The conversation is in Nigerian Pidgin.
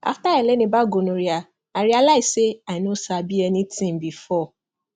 after i learn about gonorrhea i realize say i no sabi anything before